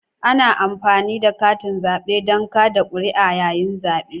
Ana amfani da katin zabe don kada kuri'a yayin zabe.